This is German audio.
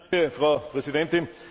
Frau Präsidentin!